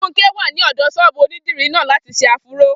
Funke wà ní ọ̀dọ̀ ṣọ́ọ̀bù onídìrí náà láti ṣe áfúró